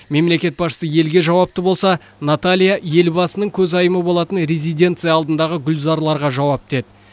мемлекет басшысы елге жауапты болса наталья елбасының көзайымы болатын резиденция алдындағы гүлзарларға жауапты еді